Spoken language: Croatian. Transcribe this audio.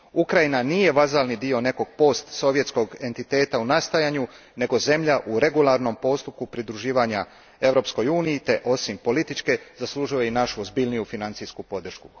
Ukrajina nije vazalni dio nekog postsovjetskog entiteta u nastajanju nego zemlja u regularnom postupku pridruživanja Europskoj uniji te osim političke zaslužuje i našu ozbiljniju financijsku podršku.